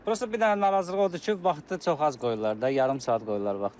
Prosta bir dənə narazılıq odur ki, vaxtı çox az qoyurlar da, yarım saat qoyurlar vaxtı.